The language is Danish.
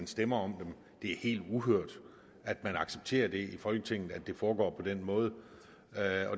stemme om dem det er helt uhørt at det accepteres i folketinget at det foregår på den måde